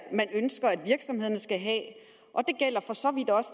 man ønsker at virksomhederne skal have